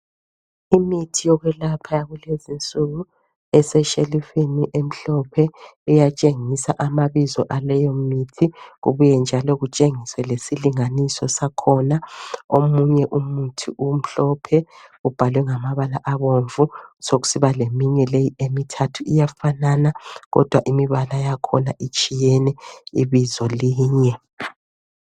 Imithi yokwelapha yakulezinsuku eseshelufini emhlophe etshengisa amabizo akuleyo mithi kubuye njalo kutshengise lesilinganiso sakhona omunye umuthi umhlophe ubhalwe ngamabala abomvu sokusibaleinue le emithathu Kodwa imibala yakhona itshiyene ibizo linye